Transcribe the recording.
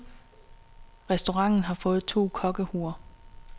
Restauranten har fået to kokkehuer.